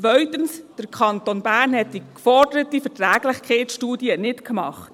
Zweitens: Der Kanton Bern hat die geforderte Verträglichkeitsstudie nicht gemacht.